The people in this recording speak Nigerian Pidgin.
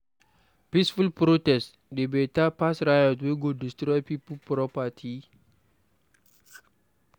Peaceful protest dey beta pass riot wey go destroy pipo property.